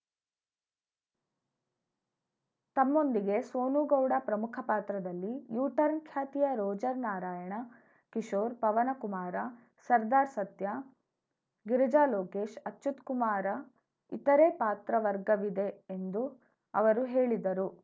ತಮ್ಮೊಂದಿಗೆ ಸೋನುಗೌಡ ಪ್ರಮುಖ ಪಾತ್ರದಲ್ಲಿ ಯೂ ಟರ್ನ್ ಖ್ಯಾತಿಯ ರೋಜರ್‌ ನಾರಾಯಣ ಕಿಶೋರ್‌ ಪವನಕುಮಾರ ಸರ್ದಾರ್‌ ಸತ್ಯಾ ಗಿರಿಜಾ ಲೋಕೇಶ್‌ ಅಚ್ಯುತ್‌ಕುಮಾರ ಇತರೆ ಪಾತ್ರ ವರ್ಗವಿದೆ ಎಂದು ಅವರು ಹೇಳಿದರು